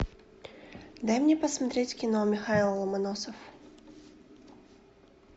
дай мне посмотреть кино михайло ломоносов